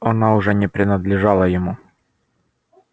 она уже не принадлежала ему